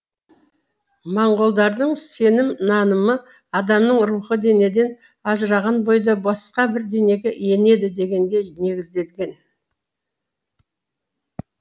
моңғолдардың сенім нанымы адамның рухы денеден ажыраған бойда басқа бір денеге енеді дегенге негізделген